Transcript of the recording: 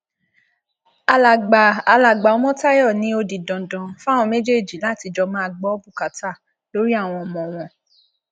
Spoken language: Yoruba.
alàgbà alàgbà ọmọtayọ ni ó di dandan fáwọn méjèèjì láti jọ máa gbọ bùkátà lórí àwọn ọmọ wọn